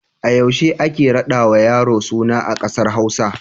A yaushe ake raɗawa yaro suna a ƙasar Hausa?